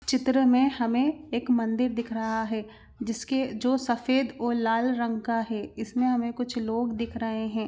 चित्र मे हमे एक मंदिर दिख रहा है जिसके जो सफेद और लाल रंग का है इसमे हमे कुछ लोग दिख रहे हैं।